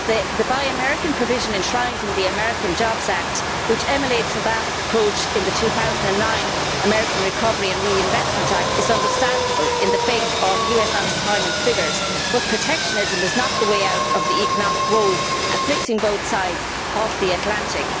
The Buy American' provisions enshrined in the American Jobs Act which emulates Obama's approach in the 2009 American Recovery and Reinvestment Act is understandable in the face of US unemployment figures, but protectionism is not the way out of the economic woes afflicting both sides of the Atlantic.